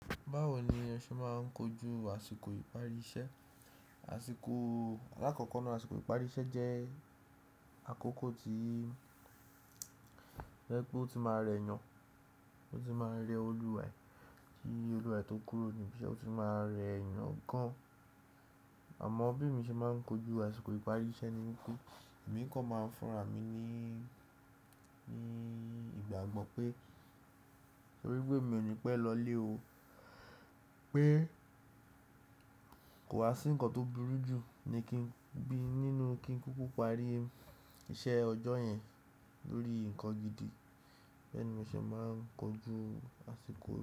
Báwo ni ẹ ṣe máa ń kojú àsìkò ìparí iṣẹ́? Àṣìkò alákọ̀ọ́kọ́ náà, àsìkò ìparí iṣẹ́ jẹ́ àkókò tí, jẹ́ pé ó ti máa rẹ ẹ̀yàn, ó ti máa rẹ olùwaẹ́ tí olùwaẹ́ tó kúrò ní ibi iṣẹ́ ó ti máa rẹ ẹ̀yàn gan-an. Àmọ́ bí mi ṣe máa ń kojú àsìkò ìparí iṣẹ́ ni wípé èmi kan máa ń fúnra mi ní, ní ìgbàgbọ́ pé orí gbé mi ò ní pé lọlé o, pé kò wá sí ǹkan tó burú jù ni kí n bí nínú kí n kúkú parí iṣẹ́ ọjọ́ yẹn lórí ǹkan gidi. Bẹ́ẹ̀ ni mo ṣe máa ń kojú àsìkò.